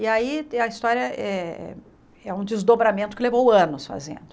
E aí a história é é um desdobramento que levou anos fazendo.